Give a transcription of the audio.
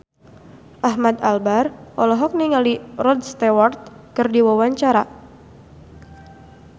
Ahmad Albar olohok ningali Rod Stewart keur diwawancara